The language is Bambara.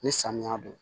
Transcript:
Ni samiya don